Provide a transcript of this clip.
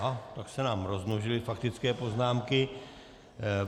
A tak se nám rozmnožily faktické poznámky.